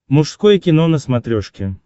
мужское кино на смотрешке